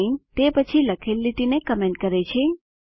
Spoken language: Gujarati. સાઇન તે પછી લખેલ લીટીને કમેન્ટ કરે છે